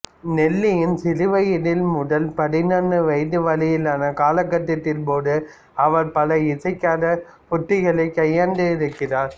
நெல்லியின் சிறுவயது முதல் பதின் வயது வரையிலான காலகட்டத்தின் போது அவர் பல இசைசார் உத்திகளைக் கையாண்டிருக்கிறார்